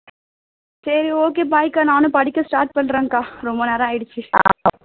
சரி okay bye அக்கா நானும் படிக்க start பண்றேன்க்கா ரொம்ப நேரம் ஆயிடுச்சு